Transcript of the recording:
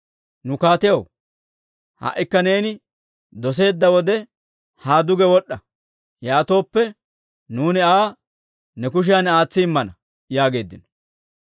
Nu kaatiyaw, ha"ikka neeni doseedda wode haa duge wod'd'a; yaatooppe, nuuni Aa ne kushiyan aatsi immana» yaageeddino.